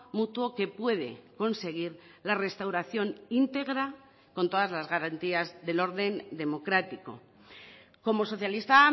mutuo que puede conseguir la restauración íntegra con todas las garantías del orden democrático como socialista